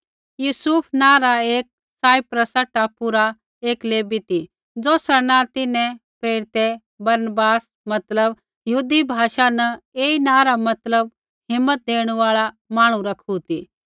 यूसुफ नाँ रा एक साइप्रसा टापू रा एक लेवी ती ज़ौसरा नाँ तिन्हैं प्रेरितै बरनबास मतलब यहूदी भाषा न ऐई नाँ रा मतलब हिम्मत देणु आल़ा मांहणु रखू ती